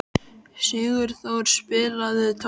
Sigurþór, spilaðu tónlist.